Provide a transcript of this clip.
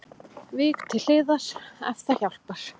Vík til hliðar ef það hjálpar